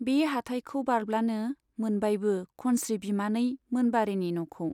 बे हाटायखौ बारब्लानो मोनबायबो खनस्री बिमानै मोनबारीनि न'खौ।